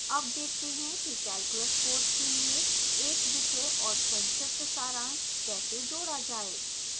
add देखते हैं कि calculus course के लिए एक विषय और संक्षिप्त सारांश कैसे जोड़ा जाए